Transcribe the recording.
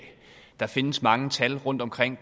der findes mange tal rundt omkring